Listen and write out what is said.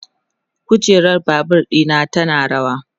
kujerar Babur ɗina tana rawa